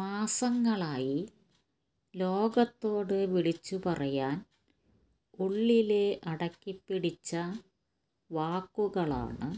മാസങ്ങളായി ലോകത്തോട് വിളിച്ചുപറയാന് ഉള്ളില് അടക്കിപ്പിടിച്ച വാക്കുകളാണ്